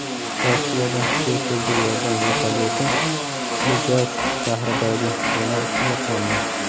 Rossiyada tez tibbiy yordam vertolyoti Ijevsk shahridagi bino ustiga qo‘ndi.